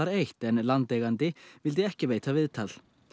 eins en landeigandi vildi ekki veita viðtal